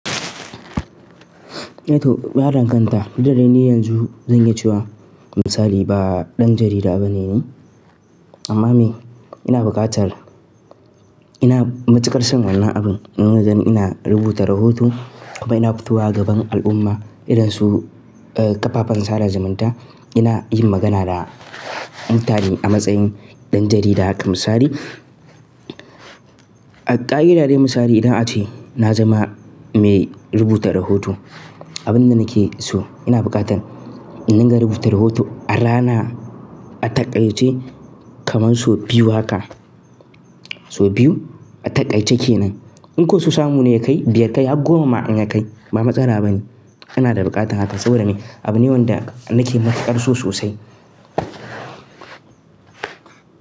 Eh to, ɗan kanta fitar da ni yanzu zan yi ciwa. Misali ba ɗan jarida bane ni, amma me? Ina buƙatar ina matuƙar son wannan abun. Ina rubuta rahoto kuma ina futuwa gaban al'umma idonsu, ƙafafen sada zumunta. Ina yin magana da mutane a matsayin ɗan jarida haka misali. A ƙa'idar dai misali idan ace na zama mai rubuta rahoto, abin da nake so ina buƙatar in na rubuta rahoto a rana a taƙaice kamar sau biyu haka, sau biyu a taƙaice ke nan. In ko su samu ne kai biyar kai har goma ma an yi kai ba matsala bane. Ina da buƙatar haka saboda me? Abune wanda nake matuƙar so sosai.